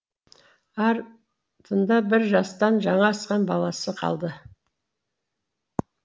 ар тыңда бір жастан жаңа асқан баласы қалды